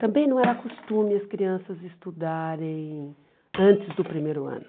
Também não era costume as crianças estudarem antes do primeiro ano.